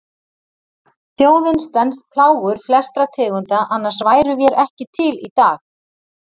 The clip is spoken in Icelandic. Þjóðin stenst plágur flestra tegunda, annars værum vér ekki til í dag.